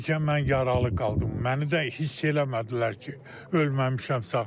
Bircə mən yaralı qaldım, məni də hiss eləmədilər ki, ölməmişəm sağam.